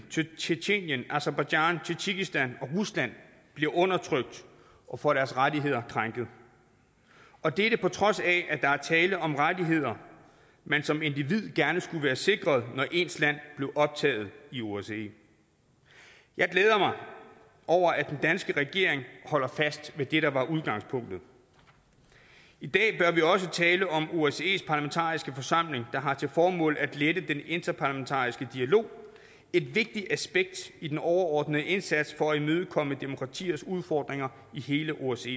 tjetjenien aserbajdsjan tadsjikistan og rusland bliver undertrykt og får deres rettigheder krænket og dette på trods af at der er tale om rettigheder man som individ gerne skulle være sikret når ens land er optaget i osce jeg glæder mig over at den danske regering holder fast ved det der var udgangspunktet i dag bør vi også tale om osces parlamentariske forsamling der har til formål at lette den interparlamentariske dialog et vigtigt aspekt i den overordnede indsats for at imødekomme demokratiers udfordringer i hele osce